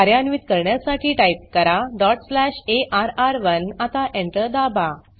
कार्यान्वीत करण्यासाठी टाइप करा डॉट स्लॅश अर्र1 आता Enter दाबा